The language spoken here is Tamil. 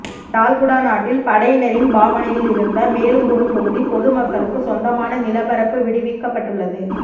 யாழ்குடாநாட்டில் படையினரின் பாவனையில் இருந்த மேலும் ஒரு தொகுதி பொது மக்களுக்கு சொந்தமான நிலப்பரப்பு விடுவிக்கப்பட்டுள்ளது